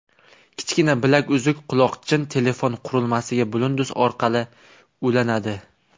Kichkina bilaguzuk-quloqchin telefon qurilmasiga bluetooth orqali ulanadi.